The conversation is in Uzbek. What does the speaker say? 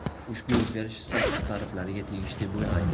Ushbu o‘zgarish Status tariflariga tegishli bo‘lmaydi.